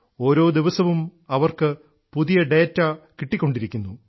ഓരോ ദിവസവും അവർക്ക് പുതിയ ഡാറ്റ കിട്ടിക്കൊണ്ടിരിക്കുന്നു